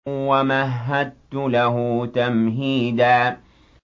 وَمَهَّدتُّ لَهُ تَمْهِيدًا